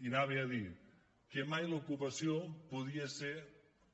i anava a dir que mai l’ocupació podia ser